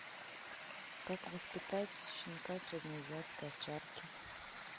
как воспитать щенка среднеазиатской овчарки